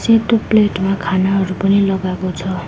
एउटा प्लेट मा खानाहरू पनि लगाको छ।